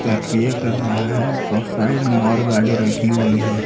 प्रक्रिया कर रहा है और साइड में और गाड़ी रखी हुई हैं।